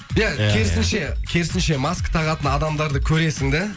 иә керісінше керісінше маска тағатын адамдарды көресің да